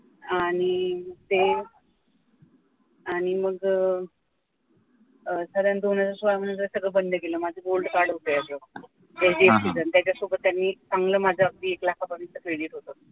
आणि ते आणि मग अं साधारण दोन हजार सोळा नंतर सगळं बंद केलं माझं golad card होत याच त्याच्यासोबत त्यांनी चांगलं माझं अगदी एक लाखापर्यंत credit होत